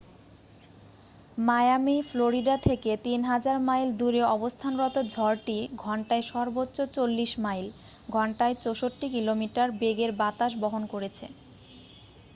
Miami Florida থেকে ৩০০০ mile দূরে অবস্থানরত ঝড়টি ঘন্টায় সর্বোচ্চ ৪০ মাইল ঘণ্টায় ৬৪ কিলোমিটার বেগের বাতাস বহন করেছে।